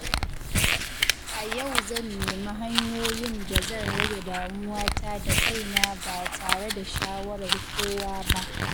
A yau zan nemi hanyoyin da zan rage damuwata da kaina ba tare da shawarar kowa ba.